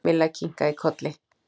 Milla kinkaði kolli.